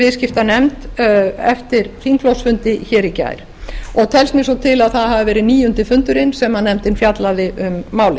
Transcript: viðskiptanefnd eftir þingflokksfundi í gær og telst mér svo til að það hafi verið níundi fundurinn sem nefndin fjallaði um málið